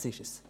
Das ist es.